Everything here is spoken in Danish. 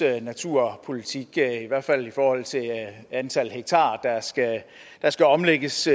naturpolitik i hvert fald i forhold til antal hektar der skal omlægges